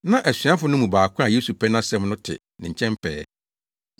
Na asuafo no mu baako a Yesu pɛ nʼasɛm no te ne nkyɛn pɛɛ.